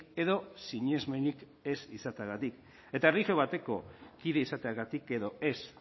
edo sinesmenik ez izateagatik eta erlijio bateko kide izateagatik edo ez